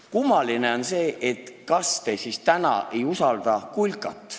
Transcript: Kummaline on see, et kas te siis täna ei usalda kulkat.